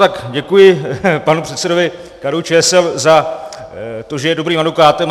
Tak děkuji panu předsedovi KDU-ČSL za to, že je dobrým advokátem.